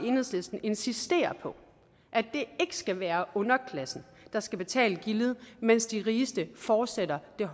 enhedslisten insisterer på at det ikke skal være underklassen der skal betale gildet mens de rigeste fortsætter med